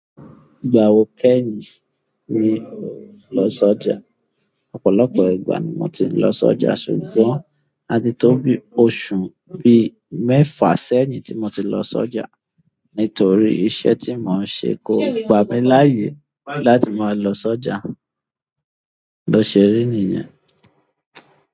Ìgbà wo kẹ́yìn ni o lọ sọ́jà? Ọ̀pọ̀lọpọ̀ ìgbà ni mo ti ń lọ sọ́jà ṣùgbọ́n a ti tó bí oṣù bí mẹ́fà sẹ́yìn tí mo ti lọ sọ́jà nítorí iṣẹ́ tí mò ń ṣe kò gbà mí láyè láti máa lọ sọ́jà. Bo se ríi niyen.